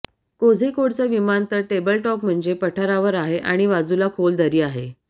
कोझीकोडचं विमानतळ टेबलटॉप म्हणजे पठारावर आहे आणि बाजूला खोल दरी आहे